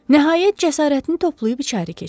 Nəhayət cəsarətini toplayıb içəri keçdi.